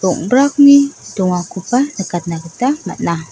rong·brakni dongakoba nikatna gita man·a.